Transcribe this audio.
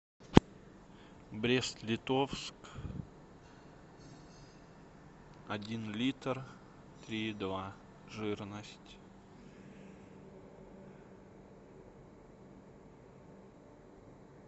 брест литовск один литр три и два жирность